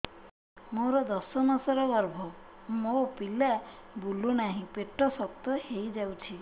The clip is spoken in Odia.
ମୋର ଦଶ ମାସର ଗର୍ଭ ମୋ ପିଲା ବୁଲୁ ନାହିଁ ପେଟ ଶକ୍ତ ହେଇଯାଉଛି